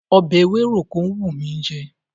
Ọbẹ̀ ewéròkó ń wùn mí jẹ.